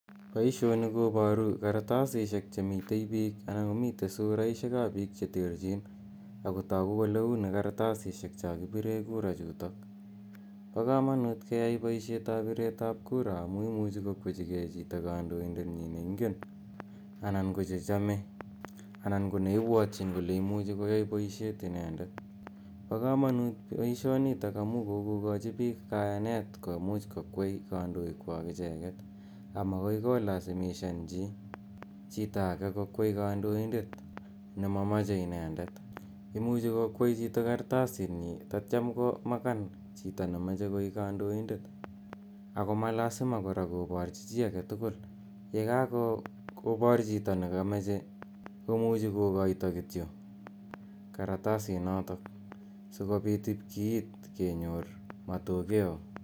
Poishonu koparu kartasishek che mitei piik anan ko mitei suraishek ap piik che terchin ako tagu kole uni karatasishek cha kipire kura chutok. Pa kamanut keyai poishetap piret ap kura amu imuchi kokwechigechito kandoindetnyi ne ingen anan ko nechame anan ko neipwatchin kole imuchi koyai poishet inendet. Pa kamaut missing' poishnitok amu kokokachi piik kayanet komuch kokwei kandoikwak icheeget amakoi kolasimishan chi chito age kokwei kandaoindet ne mamache inendet. Imuchi kokwei chito kartasitnyi tatiam komakan chito ne mache koik kandoindet ako ma lasima kora koparchi chi age tugul. Ye kakopar chito ne kamache ko muchi kokaita kityo karatasinotok si kopit ip kiit kenyor matokeo.